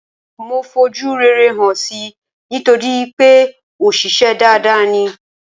Mo fojú rere hàn si nítorípé òṣìṣę dada ni.